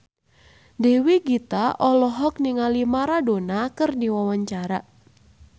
Dewi Gita olohok ningali Maradona keur diwawancara